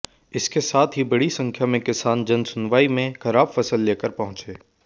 इसके साथ ही बड़ी संख्या में किसान जनसुनवाई में खराब फसल लेकर पहुंचे